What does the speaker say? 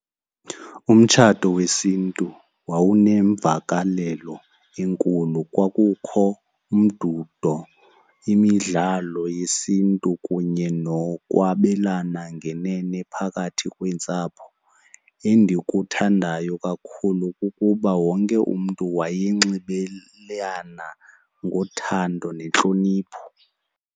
Umtshato wesiNtu wawunemvakalelo enkulu. Kwakukho umdudo, imidlalo yesiNtu kunye nokwabelana ngenene nephakathi kweentsapho. Endikuthandayo kakhulu kukuba wonke umntu wayenxibelelana ngothando nentlonipho.